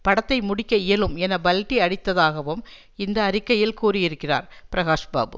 படத்தை முடிக்க இயலும் என பல்டி அடித்ததாகவும் இந்த அறிக்கையில் கூறியிருக்கிறார் பிரகாஷ் பாபு